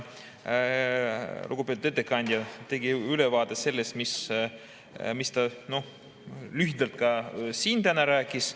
Lugupeetud ettekandja tegi ülevaate sellest, mis ta lühidalt ka siin täna rääkis.